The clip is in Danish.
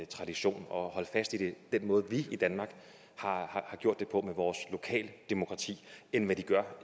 tradition og holde fast i den måde vi i danmark har gjort det på med vores lokale demokrati end hvad de gør